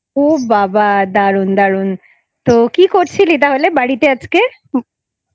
ও বাবা দারুন দারুন তো কি করছিলি তাহলে বাড়িতে আজকে?